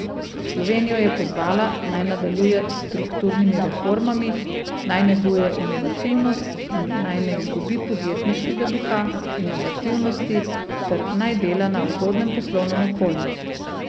Slovenijo je pozvala, naj nadaljuje s strukturnimi reformami, naj neguje inovativnost in naj ne izgubi podjetniškega duha, inovativnosti ter naj dela na ugodnem poslovnem okolju.